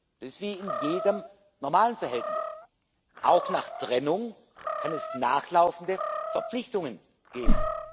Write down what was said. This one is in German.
Das ist wie in jedem normalen Verhältnis. Auch nach Trennung kann es nachlaufende Verpflichtungen geben.